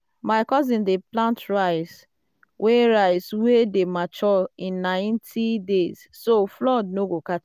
my cousins dey plant rice wey rice wey dey mature in ninety days so um flood no go catch am.